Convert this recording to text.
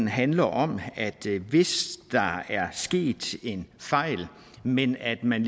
handler om at hvis der er sket en fejl men at man